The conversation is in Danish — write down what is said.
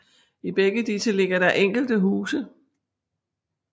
I begge disse ligger der enkelte huse